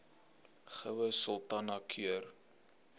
goue sultana keur